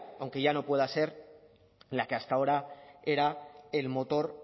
aunque ya no pueda ser la que hasta ahora era el motor